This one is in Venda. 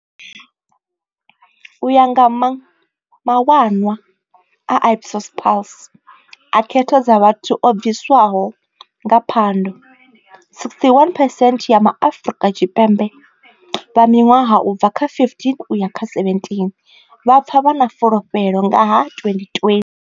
U ya nga mawanwa a Ipsos Pulse a khetho dza vhathu o bviswaho nga Phando, 61 phesent ya MaAfrika Tshipembe vha miṅwaha u bva kha 15 u ya kha 17 vha pfa vha na fulufhelo nga ha 2020.